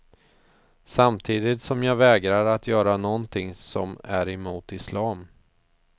Samtidigt som jag vägrar att göra någonting som är emot islam.